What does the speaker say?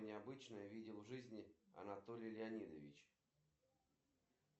джой банкомат находится на улице вязова девяносто пять